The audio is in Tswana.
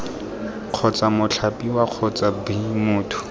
kgotsa mothapiwa kgotsa b motho